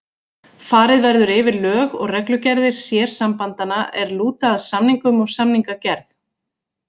Farið verður yfir lög og reglugerðir sérsambandanna er lúta að samningum og samningagerð.